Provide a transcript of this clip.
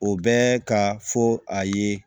O bɛ ka fɔ a ye